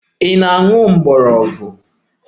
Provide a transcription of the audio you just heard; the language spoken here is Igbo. Ị na-ewere herbs?